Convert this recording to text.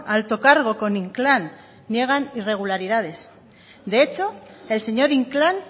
alto cargo con inclán niegan irregularidades de hecho el señor inclán